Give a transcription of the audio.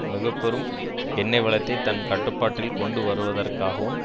மிக பெரும் எண்ணெய் வளத்தை தன் கட்டுப்பாட்டில் கொண்டு வருவதற்காகவும்